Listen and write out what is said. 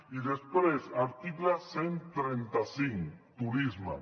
i després article cent i trenta cinc turisme